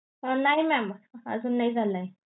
नाही mam अजून नाही झालाय.